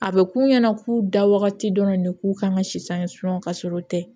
A bɛ k'u ɲɛna k'u da wagati dɔrɔn de k'u kan ka si san ye ka sɔrɔ u tɛ